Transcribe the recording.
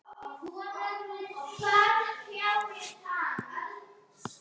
Hvar finna þeir þessa náunga??